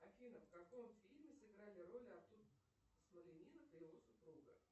афина в каком фильме сыграли роли артур смолянинов и его супруга